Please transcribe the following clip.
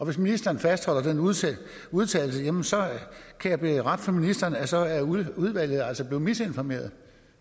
hvis ministeren fastholder den udtalelse kan jeg berette for ministeren at så er udvalget altså blevet misinformeret